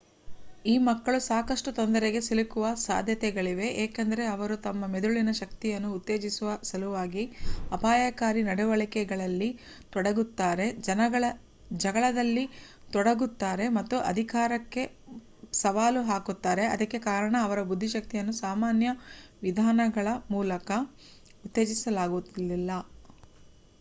ಈ ಮಕ್ಕಳು ಸಾಕಷ್ಟು ತೊಂದರೆಗೆ ಸಿಲುಕುವ ಸಾಧ್ಯತೆಗಳಿವೆ ಏಕೆಂದರೆ ಅವರು ತಮ್ಮ ಮೆದುಳಿನ ಶಕ್ತಿಯನ್ನು ಉತ್ತೇಜಿಸುವ ಸಲುವಾಗಿ ಅಪಾಯಕಾರಿ ನಡವಳಿಕೆಗಳಲ್ಲಿ ತೊಡಗುತ್ತಾರೆ ಜಗಳದಲ್ಲಿ ತೊಡಗುತ್ತಾರೆ ಮತ್ತು ಅಧಿಕಾರಕ್ಕೆ ಸವಾಲು ಹಾಕುತ್ತಾರೆ ಅದಕ್ಕೆ ಕಾರಣ ಅವರ ಬುದ್ದಿಶಕ್ತಿಯನ್ನು ಸಾಮಾನ್ಯ ವಿಧಾನಗಳ ಮೂಲಕ ಉತ್ತೇಜಿಸಲಾಗುವುದಿಲ್ಲ